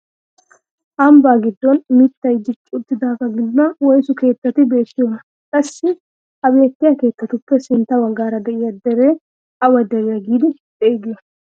Ambba giddon mittay dicci uttidagaa giddon woysu keettati beettiyoonaa? qassi ha beettiyaa keettatuppe sintta baggaara de'iyaa deriyaa awa deriyaa giidi xeegiyoo?